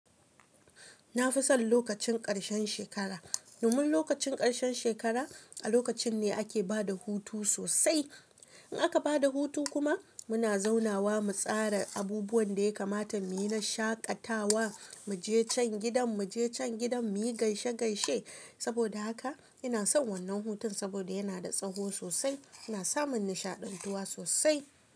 Na fi son lokacin ƙarshen shekara. Domin lokacin ƙarshen shekara a lokacin ne ake ba da hutu sosai. In aka ba da hutu kuma muna zaunawa mu tsara abubuwan da ya kamata mu yi na shaƙatawa, mu je can gidan, mu je can gidan, mu yi gaishe gaishe. Saboda haka ina son wannan hutun saboda yana da tsawo sosai, ina sa mun nishaɗantuwa sosai.